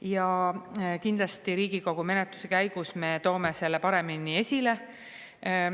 Ja kindlasti Riigikogu menetluse käigus me toome selle paremini esile.